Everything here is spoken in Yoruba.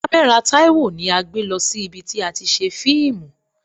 Kamera Taiwo ni a gbé lọ sí ibi tí a ti ṣe fíìmù.